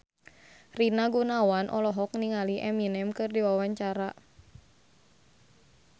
Rina Gunawan olohok ningali Eminem keur diwawancara